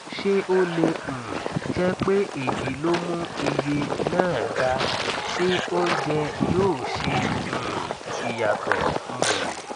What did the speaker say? ṣé ó lè um jẹ pé èyí ló mú iye náà ga ṣé oúnjẹ yóò ṣe um ìyàtọ um